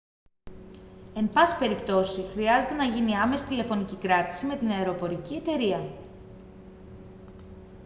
εν πάση περιπτώσει χρειάζεται να γίνει άμεση τηλεφωνική κράτηση με την αεροπορική εταιρεία